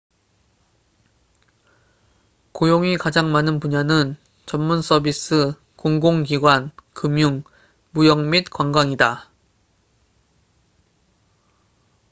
고용이 가장 많은 분야는 전문 서비스 공공기관 금융 무역 및 관광이다